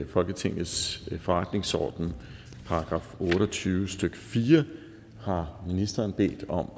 folketingets forretningsordens § otte og tyve stykke fire har ministeren bedt om